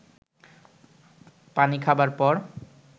পানি খাবার পর